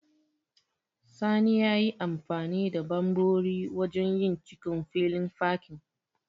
Sani yayi amfani da ɓanɓori wajen yin cikon filin fakin.